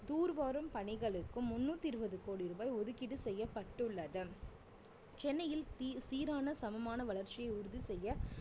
தூர்வாரும் பணிகளுக்கும் முண்ணூத்தி இருவது கோடி ரூபாய் ஒதுக்கீடு செய்யப்பட்டுள்ளது சென்னையில் சீ~ சீரான சமமான வளர்ச்சியை உறுதி செய்ய